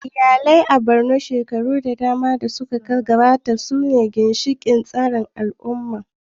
Iyalai a Borno, shekaru da dama da suka gabata, sune ginshiƙan tsarin al'umma